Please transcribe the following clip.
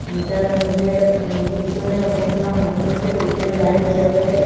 ইটার মধ্যে উ পিছনে অনেকগুলা মানুষ আসে উপরে লাইট জ্বলে।